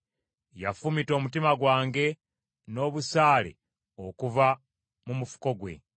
Yafumita omutima gwange n’obusaale okuva mu mufuko gwe.